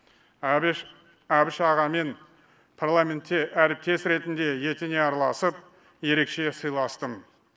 әбіш ағамен парламентте әріптес ретінде етене араласып ерекше сыйластым